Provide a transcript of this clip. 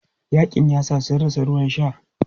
Yaƙin yasa sun rasa ruwan sha.